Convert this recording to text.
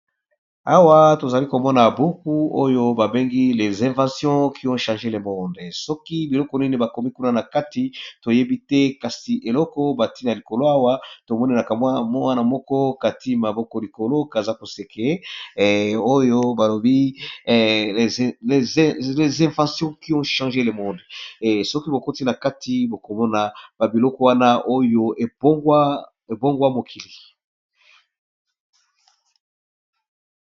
Awa tozali komona buku oyo babengi lez invations kion change le monde soki biloko nini bakomi kuna na kati toyebi te kasi eloko batie na likolo awa tomoni kaka mwana moko kati maboko likolo kaza koseke oyo balobi lez invation kion change le monde soki bokoti na kati bokomona babiloko wana oyo ebongwa mokili.